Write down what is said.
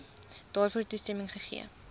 daarvoor toestemming gegee